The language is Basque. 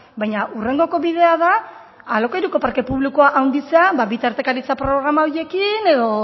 baina hurrengoko bidea da alokairuko parke publikoa handitzea bitartekaritza programa horiekin edo